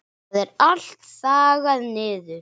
Það er allt þaggað niður.